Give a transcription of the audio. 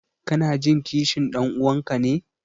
Kanajin kishin ɗan'uwanka ne?